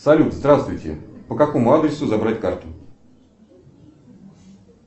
салют здравствуйте по какому адресу забрать карту